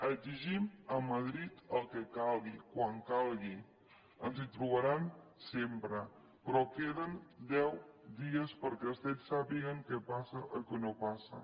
exigim a madrid el que calgui quan calgui ens hi trobaran sempre però queden deu dies perquè els cet sàpiguen què passa o què no passa